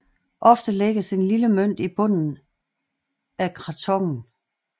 Ofte lægges en lille mønt i bunden af krathongen